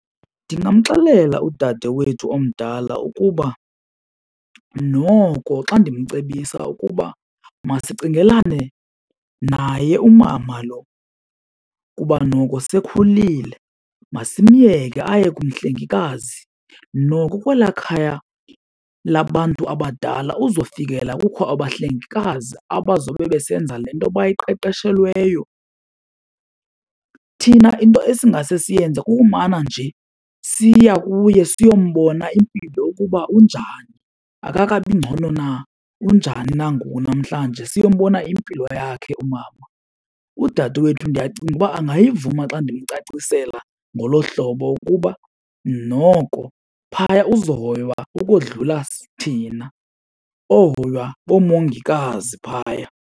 Ndingamxelela udadewethu omdala ukuba noko xa ndimcebisa ukuba masicingelane naye umama lo kuba noko sekhulile. Masimyeke aye kumhlengikazi noko kwela khaya labantu abadala uzofikelela kukho abahlengikazi abazobe besenza le nto bayiqeshelweyo. Thina into esingase siyenze kukumana nje siya kuye siyombona impilo ukuba unjani akakabi ngcono na unjani na ngoku namhlanje. Siyombona impilo yakhe umama, udadewethu ndiyacinga uba angayivuma xa ndimcacisela ngolo hlobo ukuba noko phaya uzohoywa ukodlula thina ohoywa ngoomongikazi phaya.